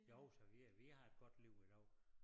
Jo så vi øh vi har et godt liv i dag